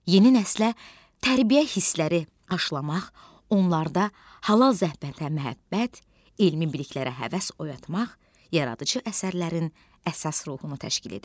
Yeni nəslə tərbiyə hissləri aşılamaq, onlarda halal zəhmətə məhəbbət, elmi biliklərə həvəs oyatmaq yaradıcı əsərlərin əsas ruhunu təşkil edir.